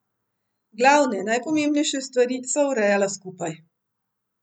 Glavne, najpomembnejše stvari sva urejala skupaj.